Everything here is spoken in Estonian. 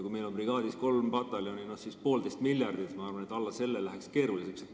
Kui meil on brigaadis kolm pataljoni, no nii poolteist miljardit, siis ma arvan, et alla selle läheks keeruliseks.